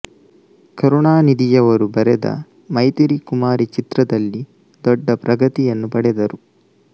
ಕರುಣಾನಿಧಿಯವರು ಬರೆದ ಮೃತಿರಿ ಕುಮಾರಿ ಚಿತ್ರದಲ್ಲಿ ದೊಡ್ಡ ಪ್ರಗತಿಯನ್ನು ಪಡೆದರು